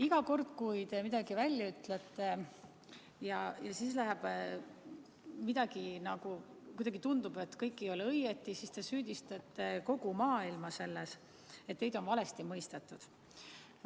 Iga kord, kui te midagi ütlete ja siis kuidagi tundub, et kõik ei ole õigesti, siis te süüdistate kogu maailma selles, et teid on valesti mõistetud.